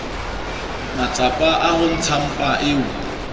matsapa a ho ntshampa eo